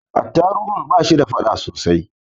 Attarugun ba shi da fada sosai.